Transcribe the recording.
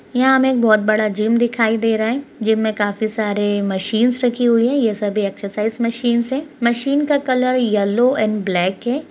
यहाँ हमें बहुत बड़ा जिम दिखाई दे रहा है जिम में काफी सारे मशीन्स रखी हुई हैं यह सभी एक्सरसाइज मशीन्स है मशीन का कलर येलो एंड ब्लैक है।